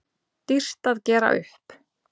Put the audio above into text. Dýrt að gera upp